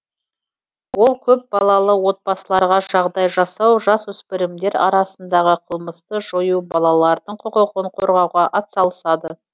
ол көпбалалы отбасыларға жағдай жасау жасөспірімдер арасындағы қылмысты жою балалардың құқығын қорғауға атсалысады